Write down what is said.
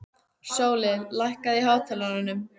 Sóli, lækkaðu í hátalaranum.